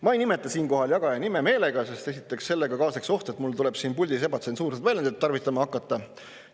Ma ei nimeta siinkohal jagaja nime meelega, sest esiteks sellega kaasneks oht, et mul tuleb siin puldis ebatsensuurseid väljendeid tarvitama hakata.